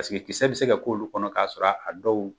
Paseke ikisɛ bɛ se ka k'olu kɔnɔ k'a sɔrɔ a dɔw